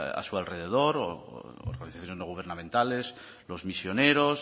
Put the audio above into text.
a su alrededor u organizaciones no gubernamentales los misioneros